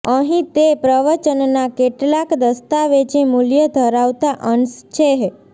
અહીં તે પ્રવચનના કેટલાક દસ્તાવેજી મૂલ્ય ધરાવતા અંશ છેઃ